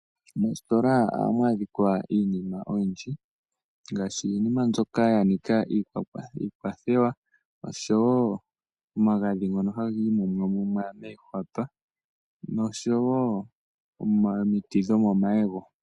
Moositola ohamu adhika iinima oyindji ngaashi iinima mbyoka ya nika iikwathelwa oshowo omagadhi ngono haga imumwamumwa moohwapa noshowo omiti dho komayego.